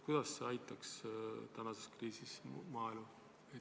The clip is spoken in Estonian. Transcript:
Kuidas see praeguses kriisis maaelu aitaks?